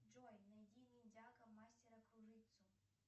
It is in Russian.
джой найди ниндзяго мастера кружитцу